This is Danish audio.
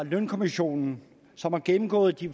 lønkommissionen som har gennemgået de